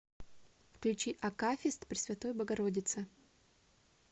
включи акафист пресвятой богородице